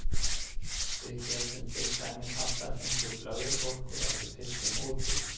Við getum til dæmis allar fengið blöðrubólgu ef við pissum úti